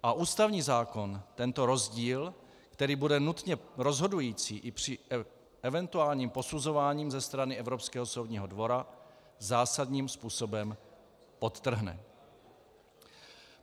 A ústavní zákon tento rozdíl, který bude nutně rozhodující i při eventuálním posuzování ze strany Evropského soudního dvora, zásadním způsobem podtrhne.